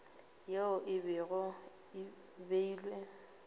yeo e bego e beilwe